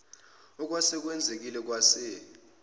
okwase kwenzekile kwase